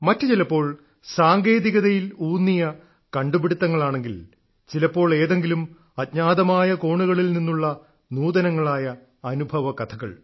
മറ്റുചിലപ്പോൾ സാങ്കേതികതയിലൂന്നിയ കണ്ടുപിടുത്തങ്ങളാണെങ്കിൽ ചിലപ്പോൾ ഏതെങ്കിലും അജ്ഞാതമായ കോണുകളിൽ നിന്നുള്ള നൂതനങ്ങളായ അനുഭവകഥകൾ